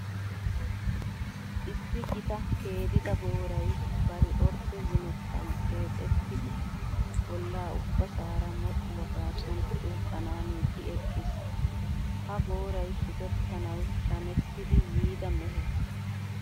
Issi gita keedida booray bari ordde zimettan deexettidi bolla ubbasaara modhdhuwa gaasuwan xuuqqanaaniiddi eqqiis. Ha booray shukettanawu shamettidi yiida mehe.